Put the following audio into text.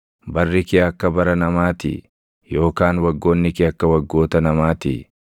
Barri kee akka bara namaatii? Yookaan waggoonni kee akka waggoota namaatii?